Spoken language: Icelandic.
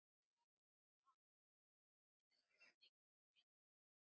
Þetta er speki.